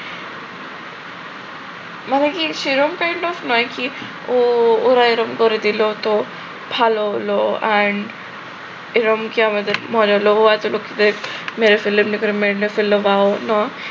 মানে কি সেরম kind of নয় কি ও ওরা এরম করে দিল তো ভালো হলো earned এরম কি আমাদের মজার লোক ও এতটুক মেরে ফেললো এমনি করে মেরে ফেললো বা অন্য